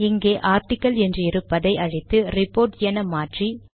இங்கே ஆர்டிகில் என்றிருப்பதை அழித்து ரிபோர்ட் என்று மாற்றி